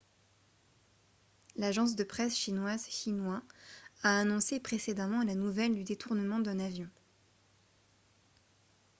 l'agence de presse chinoise xinhua a annoncé précédemment la nouvelle du détournement d'un avion